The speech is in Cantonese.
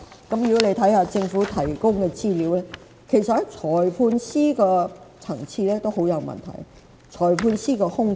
看一看政府提供的資料，便會發現裁判官的級別也很有問題，裁判官有大量空缺。